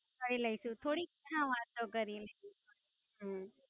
કરી લઈશુ થોડીક હા વાતો કરી લઈશુ.